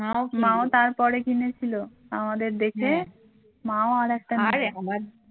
মা ও মা ও তারপরে কিনেছিল আমাদের দেখে মা ও আরেকটা নিয়েছিল।